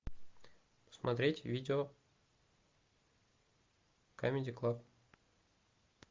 смотреть видео камеди клаб